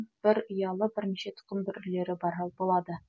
бір ұялы бірнеше тұқым бүрлері болады